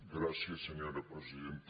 gràcies senyora presidenta